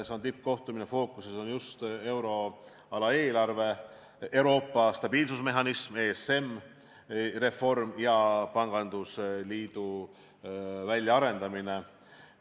See on tippkohtumine, fookuses on just euroala eelarve, ESM-i reform ja pangandusliidu väljaarendamine.